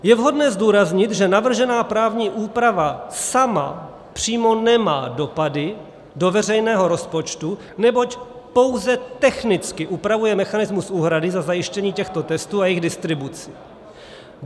Je vhodné zdůraznit, že navržená právní úprava sama přímo nemá dopady do veřejného rozpočtu, neboť pouze technicky upravuje mechanismus úhrady za zajištění těchto testů a jejich distribuci.